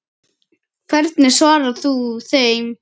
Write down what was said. Hvernig svarar þú þeim?